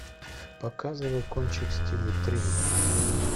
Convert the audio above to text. показывай кончик в стиле триллера